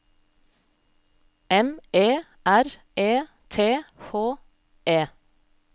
M E R E T H E